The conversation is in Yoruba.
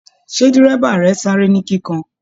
Ṣe dírẹ́bà rẹ sáré ni kíkàn?